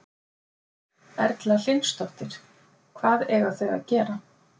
Erla Hlynsdóttir: Hvað eiga þau að gera?